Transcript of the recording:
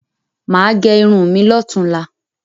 Mà á gẹ irun mi lọ́tunla.